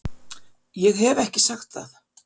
Ég hef ekki sagt það!